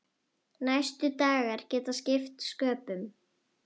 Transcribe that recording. Næstu dagar geta skipt sköpum.